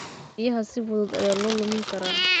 Biyaha si fudud ayaa loo lumin karaa.